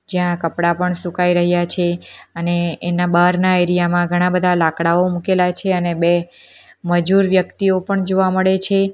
જ્યાં કપડાં પણ સુકાઈ રહ્યા છે અને એના બારના એરિયામાં ઘણા બધા લાકડાઓ મૂકેલા છે અને બે મજૂર વ્યક્તિઓ પણ જોવા મળે છે.